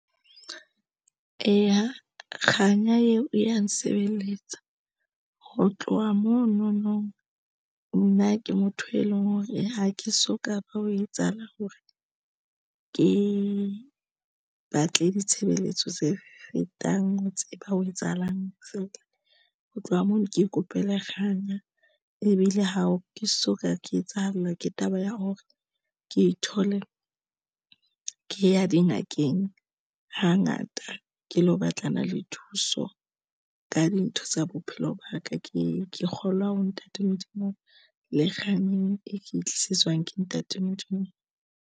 Eya, kganya eo e ya nsebeletsa ho tloha mono nong, nna ke motho e leng hore ha ke so ka ba ho etsahala hore ke batle ditshebeletso tse fetang ho tseba ho etsahalang feela ho tloha mono. Ke ikopela kganya ebile ha ke soka, ke etsahallwa ke taba ya hore ke ithole. Ke ya dingakeng hangata ke lo batlana le thuso ka dintho tsa bophelo ba ka. Ke kgolwa ho Ntate Modimo le kgang e ke tlisetswang ke Ntate Modimo.